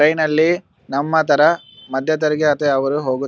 train ನಲ್ಲಿ ನಮ್ಮ ತರ ಮದ್ಯತೆರಿಗೆ ಅಥವಾ ಯಾವ್ ಊರಿಗ ಹೋಗುತ್ತ --